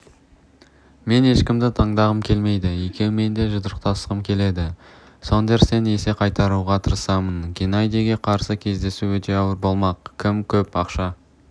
мен ешкімді таңдағым келмейді екеуімен де жұдырықтасқым келеді сондерстен есе қайтаруға тырысамын геннадийге қарсы кездесу өте ауыр болмақ кім көп ақша